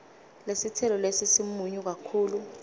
lesitselo lesi simunyu kakhulu